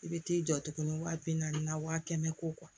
I bɛ t'i jɔ tuguni wa bi naani na wa kɛmɛ ko